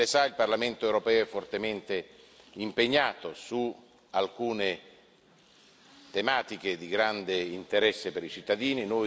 Come Lei sa, il Parlamento europeo è fortemente impegnato su alcune tematiche di grande interesse per i cittadini.